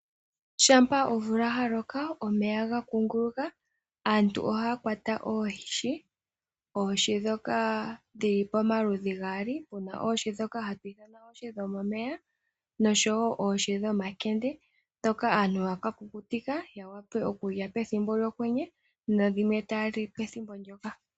Shampa omvula yaloka. Omeya ohaga kunguluka, aantu ohaya kwata oohi dhomaludhi gaali , muna oohi ndhoka hatu ithana oohi dhomomeya noshowoo oohi dhomakende ndhoka aantu haya kakukutika yawape okulya pethimbo lyokwenye nenge pethimbo olyo tuu ndyoka.